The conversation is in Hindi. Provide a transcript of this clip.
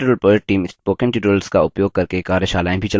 spoken tutorial project team